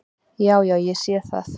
"""Já, já. ég sé það."""